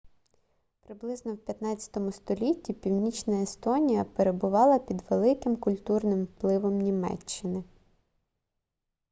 приблизно в 15-му столітті північна естонія перебувала під великим культурним впливом німеччини